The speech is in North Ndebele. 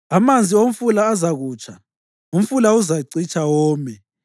Amanzi omfula azakutsha, umfula uzacitsha, wome.